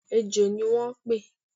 ẹ́jọ ní wo n pe